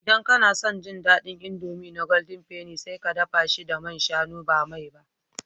Idan kana son ji daɗin indomie na golden penny, sai ka dafa shi da man shanu ba mai ba